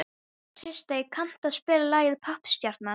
Kristey, kanntu að spila lagið „Poppstjarnan“?